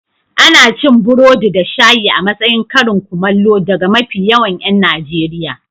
Ana cin burodi da shayi a matsayin karin kumallo daga mafi yawan 'yan Najeriya.